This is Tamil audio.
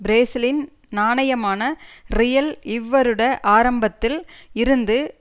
பிரேசிலின் நாணயமான றியல் இவ்வருட ஆரம்பத்தில் இருந்து